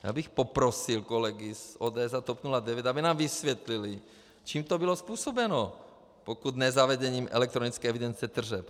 Já bych poprosil kolegy z ODS a TOP 09, aby nám vysvětlili, čím to bylo způsobeno, pokud ne zavedením elektronické evidence tržeb.